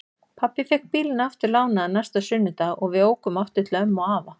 Pabbi fékk bílinn aftur lánaðan næsta sunnudag og við ókum aftur til ömmu og afa.